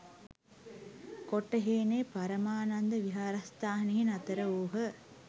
කොටහේනේ පරමානන්ද විහාරස්ථානයෙහි නතර වූහ.